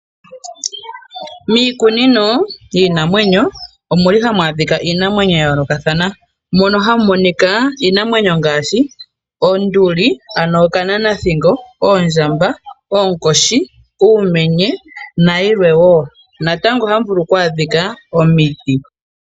Miikunino yiinamwenyo omuli hamu adhika iinamwenyo ya yoolokathana . Mono hamu monika iinamwenyo ngaashi oonduli ano okananathingo, oondjamba , oonkoshi, uumenye nayilwe woo. Natango ohamu vulu oku adhika omiti.